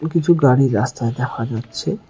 কিছু গাড়ি রাস্তায় দেখা যাচ্ছে।